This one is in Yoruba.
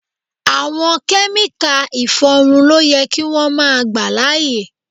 Àwọn Kẹ́míkà ìfọrun ló yẹ kí wón máa gbà láyè.